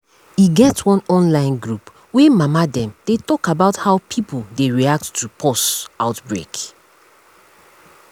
e get one online group wey mama dey dey talk about how pipo dey react to pause outbreak